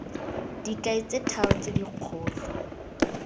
dikai tse tharo tse dikgolo